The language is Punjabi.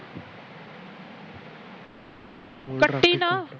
ਕੱਟੀ ਨਾ